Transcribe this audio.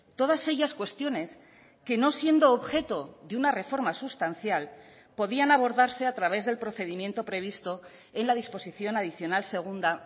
todas ellas cuestiones que no siendo objeto de una reforma sustancial podían abordarse a través del procedimiento previsto en la disposición adicional segunda